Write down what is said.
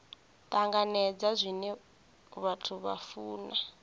tanganedza zwine vhathu vha funa